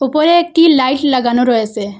উপরে একটি লাইট লাগানো রয়েসে ।